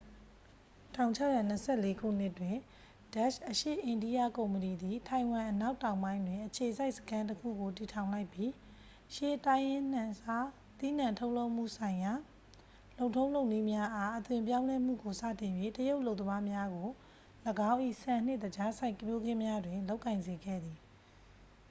1624 ခုနှစ်တွင် ဒတ်ရှ် အရှေ့အိန္ဒိယကုမ္ပဏီသည် ထိုင်ဝမ်အနောက်တောင်ပိုင်းတွင် အခြေစိုက်စခန်းတစ်ခုကို တည်ထောင်လိုက်ပြီး ရှေးတိုင်းရင်းနှံစားသီးနှံထုတ်လုပ်မှုဆိုင်ရာ လုပ်ထုံးလုပ်နည်းများအား အသွင်ပြောင်းလဲမှုကို စတင်၍ တရုတ်အလုပ်သမားများကို ၎င်း၏ ဆန်နှင့် သကြားစိုက်ပျိုးခင်းများတွင် လုပ်ကိုင်စေခဲ့သည်